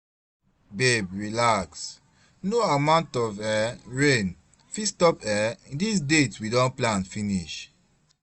Babe relax, no amount of um rain fit stop um dis date we don plan finish